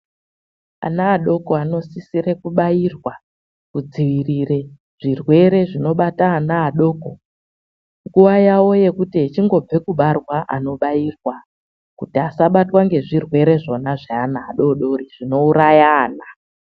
Ana adoko anosisira kubairwa kudziirira zvirwere zvinobata anaadoko nguva yavo yekuti achingobva kubarwa vobairirwa kuti asabatwa nezvirwere zvona zvevana vadodori zvinouraya vana .